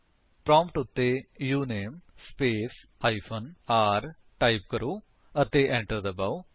prompt ਉੱਤੇ uname space hyphen r type ਕਰੋ ਅਤੇ enter ਦਬਾਓ